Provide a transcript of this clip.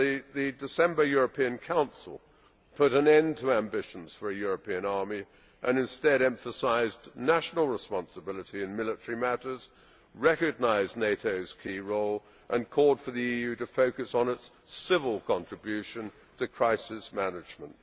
The December European Council put an end to ambitions for a European army and instead emphasised national responsibility in military matters, recognised NATO's key role and called for the EU to focus on its civil contribution to crisis management.